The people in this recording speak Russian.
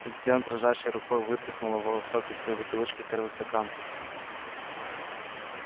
затем дрожащей рукой вытряхнула волосок из своей бутылочки в первый стакан